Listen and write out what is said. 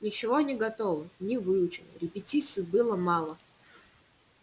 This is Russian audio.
ничего не готово не выучено репетиций было мало